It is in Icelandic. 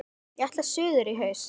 Ég ætla suður í haust.